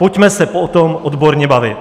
Pojďme se o tom odborně bavit.